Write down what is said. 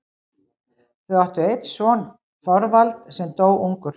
Þau áttu einn son, Þorvald, sem dó ungur.